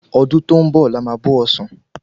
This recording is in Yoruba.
Ọdún tó ń bọ ní a má bò osan